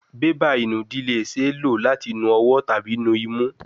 Beba inudi le ṣee lo lati nu ọwọ tabi nu imu